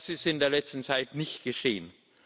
Das ist in der letzten Zeit nicht geschehen.